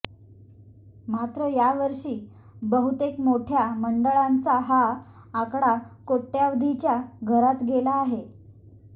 मात्र यावर्षी बहुतेक मोठ्या मंडळांचा हा आकडा कोट्यवधीच्या घरात गेला आहे